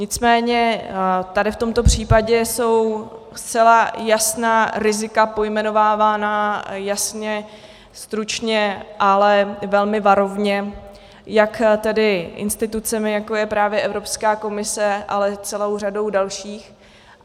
Nicméně tady v tomto případě jsou zcela jasná rizika pojmenovávána, jasně, stručně, ale velmi varovně, jak tedy institucemi, jako je právě Evropská komise, ale celou řadou dalších.